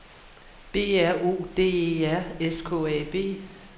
B R O D E R S K A B